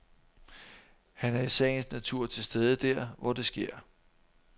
Han er i sagens natur til stede der, hvor der sker